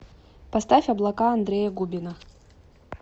поставь облака андрея губина